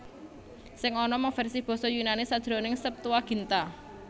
Sing ana mung versi basa Yunani sajroning Septuaginta